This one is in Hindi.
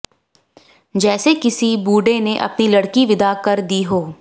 जैसे किसी बूढ़े ने अपनी लड़की विदा कर दी हो